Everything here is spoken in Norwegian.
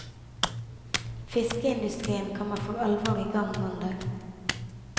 Fiskeindustrien kommer for alvor i gang mandag.